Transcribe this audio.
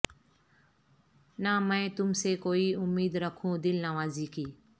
نہ میں تم سے کوئی امید رکھوں دلنوازی کی